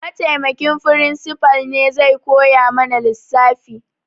Mataimakin firimsifal ne zai koya mana lissafi